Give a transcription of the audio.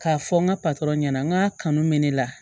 K'a fɔ n ka patɔrɔn ɲɛna n k'a kanu bɛ ne la